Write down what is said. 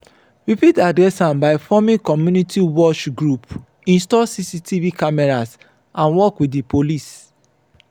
we fit address am by forming community watch group install cctv cameras and work with di police.